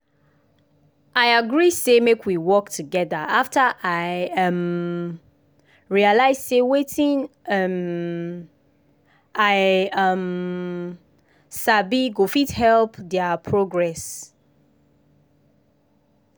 i agree say make we work together after i um realize say wetin um i um sabi go fit help their progress.